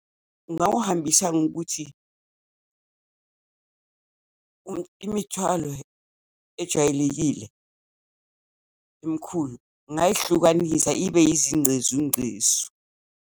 Ngingawuhambisa ngokuthi imithwalo ejwayelekile, emikhulu ngingayihlukanisa ibe yizingcezungcezu.